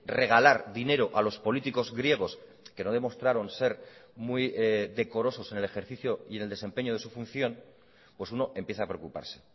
regalar dinero a los políticos griegos que no demostraron ser muy decorosos en el ejercicio y en el desempeño de su función pues uno empieza a preocuparse